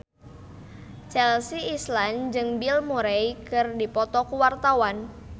Chelsea Islan jeung Bill Murray keur dipoto ku wartawan